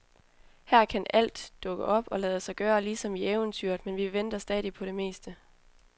Her kan alt dukke op og lade sig gøre, ligesom i eventyret, men vi venter stadig på det meste.